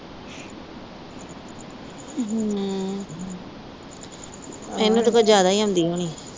ਇਹਨੂੰ ਤਾਂ ਕੁਛ ਜਿਆਦਾ ਈ ਆਉਂਦੀ ਹੋਣੀ।